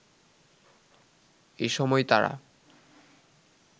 এ সময় তারা